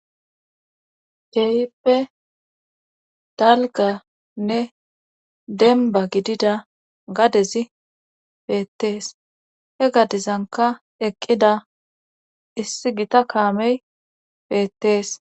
keyippe dalganne demba gidida gadezi beettees he gadezanka eqqida issi gita kaamey beettees